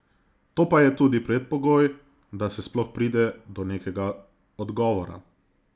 To pa je tudi predpogoj, da se sploh pride do nekega odgovora.